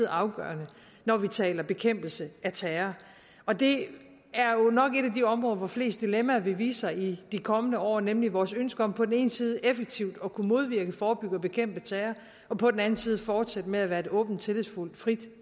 afgørende når vi taler bekæmpelse af terror og det er jo nok et af de områder hvor flest dilemmaer vil vise sig i de kommende år nemlig vores ønske om på den ene side effektivt at kunne modvirke forebygge og bekæmpe terror og på den anden side fortsætte med at være et åbent tillidsfuldt og frit